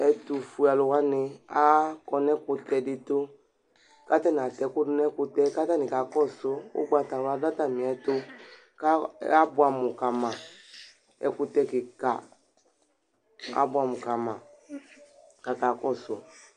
ɛtu fue alu wʋani akɔ nu ɛkutɛ di tu , ku ata ni ata ɛku du nu ɛkutɛ k'ata ni kakɔsu, ugbata wla du atamiɛtu ka bʋam kama ɛkutɛ kika abʋam kama kaka kɔsu